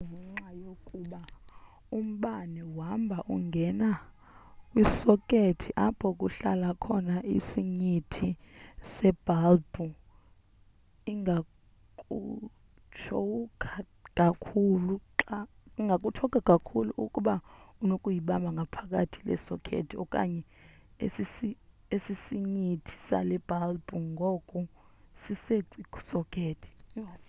kungenxa yokuba umbane uhamba ungene kwisokethi apho kuhlala khona isinyithi sebhalbhu ingakutshowukha kakhulu ukuba unoyibamba ngaphakathi le sokethi okanye esisinyithi sale bhalbhu ngoku sisekwi sokethi